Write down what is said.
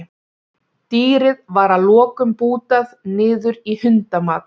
dýrið var að lokum bútað niður í hundamat